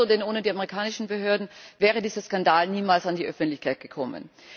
Das ist gut so, denn ohne die amerikanischen Behörden wäre dieser Skandal niemals an die Öffentlichkeit gekommen.